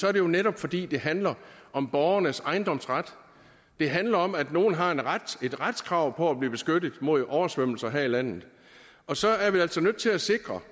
er det jo netop fordi det handler om borgernes ejendomsret det handler om at nogle har et retskrav retskrav på at blive beskyttet mod oversvømmelser her i landet og så er vi altså nødt til at sikre